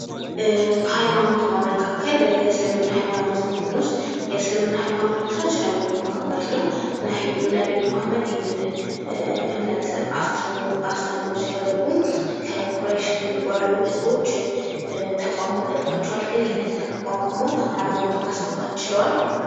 ከሃይማኖት በመካከል የእስልምና ሃይማኖትን ብንወስድ የእስልምና ሃይማኖት መስራች ነብዩ መሀመድ ነው። ነብዩ መሀመድ ይህንን እምነት አስተምህሮ ሲያደርጉ ከኩረሽ ከሚባሉ ህዝቦች ተቃውሞ ገጥሟቸዋል ግን ይሄንን ተቋቁመው ሃይማኖትን ማስፋፋት ችለዋል።